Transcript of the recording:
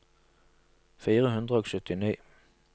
fire hundre og syttini